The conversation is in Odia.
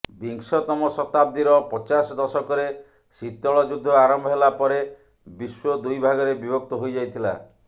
ବିଂଶତମ ଶତାବ୍ଦୀର ପଚାଶ ଦଶକରେ ଶୀତଳ ଯୁଦ୍ଧ ଆରମ୍ଭ ହେଲା ପରେ ବିଶ୍ୱ ଦୁଇ ଭାଗରେ ବିଭକ୍ତ ହୋଇଯାଇଥିଲା